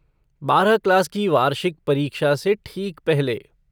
बारह क्लास की वार्षिक परीक्षा से ठीक पहले।